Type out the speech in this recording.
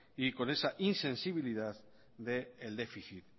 y con esa insensibilidad del déficit